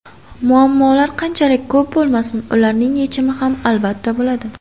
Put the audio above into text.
Muammolar qanchalik ko‘p bo‘lmasin, ularning yechimi ham, albatta, bo‘ladi.